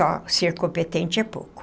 Só ser competente é pouco.